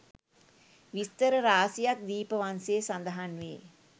විස්තර රාශියක් දීපවංසයේ සඳහන් වේ